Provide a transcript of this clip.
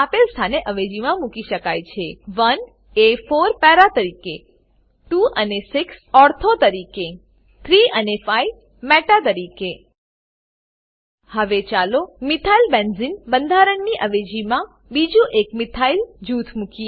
બેન્ઝીનનાં mono substituted mono substituted સંયોજન આપેલ સ્થાને અવેજીમાં મૂકી શકાય છે 1 અને 4 પારા પેરા તરીકે 2 અને 6 ઓર્થો ઓર્થો તરીકે 3 અને 5 મેટા મેટા તરીકે હવે ચાલો મિથાઇલબેન્ઝને મિથાઈલબેન્ઝીન બંધારણની અવેજીમાં બીજું એક મિથાઇલ મિથાઈલ જૂથ મુકીએ